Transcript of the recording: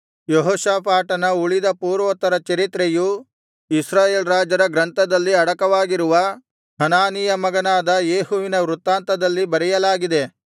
ಯೆಹೋಷಾಫಾಟನ ಉಳಿದ ಪೂರ್ವೋತ್ತರ ಚರಿತ್ರೆಯು ಇಸ್ರಾಯೇಲ್ ರಾಜರ ಗ್ರಂಥದಲ್ಲಿ ಅಡಕವಾಗಿರುವ ಹನಾನೀಯ ಮಗನಾದ ಯೇಹುವಿನ ವೃತ್ತಾಂತದಲ್ಲಿ ಬರೆಯಲಾಗಿದೆ